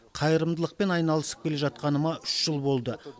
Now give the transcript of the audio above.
қайырымдылықпен айналысып келе жатқаныма үш жыл болды